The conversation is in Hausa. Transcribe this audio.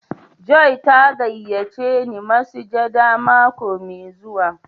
"Joy" ta gayace ni masujaɗa mako mai zuwa.